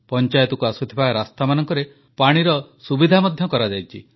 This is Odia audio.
ପଞ୍ଚାୟତକୁ ଆସୁଥିବା ରାସ୍ତାମାନଙ୍କରେ ପାଣିର ସୁବିଧା ମଧ୍ୟ କରାଯାଇଛି